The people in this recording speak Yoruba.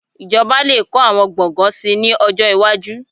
Ìjọba lè kọ́ àwọn gbọ̀ngàn síi ní ọjọ́ iwájú